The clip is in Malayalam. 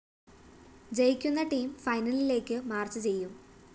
ജയിക്കുന്ന ടീം ഫൈനലിലേയ്ക്ക് മാർച്ച്‌ ചെയ്യും